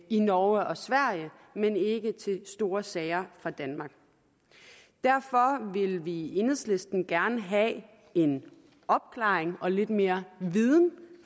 i norge og sverige men ikke til store sager fra danmark derfor vil vi i enhedslisten gerne have en opklaring og lidt mere viden